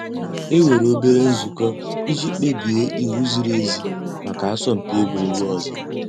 É nwèré òbèlé ǹzùkọ́ ìjì kpèbíé íwú zìrí èzí màkà àsọ̀mpị́ egwuregwu ọ̀zọ́.